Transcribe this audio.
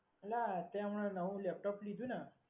એલા તે હમણાં નવું laptop લીધું ને?